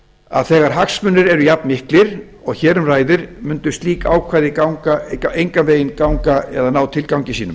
að þegar hagsmunir eru jafnmiklir og hér um ræðir mundu slík ákvæði engan veginn ganga eða ná tilgangi sínum